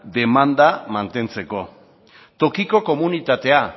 demanda mantentzeko tokiko komunitatea